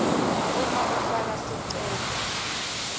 uma ufaka sicelo